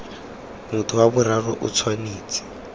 motho wa boraro o tshwanetse